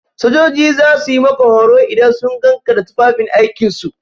Sojoji za su yi maka horo idan sun gan ka da tufafin aikin su.